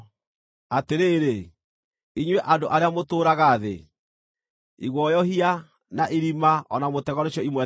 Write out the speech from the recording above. Atĩrĩrĩ, inyuĩ andũ arĩa mũtũũraga thĩ, iguoyohia, na irima, o na mũtego nĩcio imwetereire.